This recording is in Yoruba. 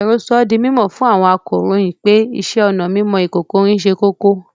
Àwèró sọ̀ dí mímọ́ fún àwọn àkòróyìn pé ìṣẹ̀-ọnà mímọ ìkòkò-ìrín sẹ́ kókó